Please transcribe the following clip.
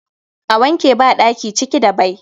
A wanke badaki ciki da bai